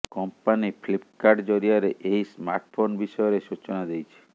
company Flipkart ଜରିଆରେ ଏହି smartphone ବିଷୟରେ ସୂଚନା ଦେଇଛି